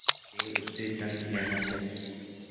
अतएव उससे दंड लेना चाहिए